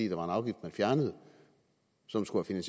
en afgift man fjernede og som skulle have